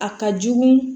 A ka jugu